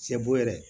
Sɛ bo yɛrɛ